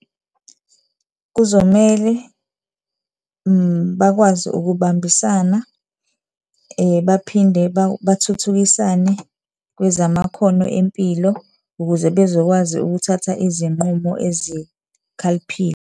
Kuzomele bakwazi ukubambisana, baphinde bathuthukisane kwezamakhono empilo ukuze bezokwazi ukuthatha izinqumo ezikhaliphile.